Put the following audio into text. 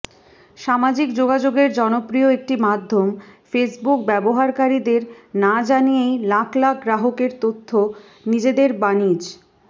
সামাজিক যোগাযোগের জনপ্রিয় একটি মাধ্যম ফেসবুক ব্যবহারকারীদেরকে না জানিয়েই লাখ লাখ গ্রাহকের তথ্য নিজেদের বাণিজ